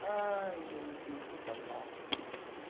аа заебись и погнал